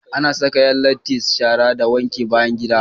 Ana Saka Yan latti shara da wankin bayan gida